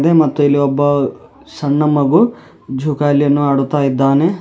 ಮತ್ತು ಇಲ್ಲಿ ಒಬ್ಬ ಸಣ್ಣ ಮಗು ಜೋಕಾಲಿ ಅನ್ನು ಆಡುತ್ತಾ ಇದ್ದಾನೆ.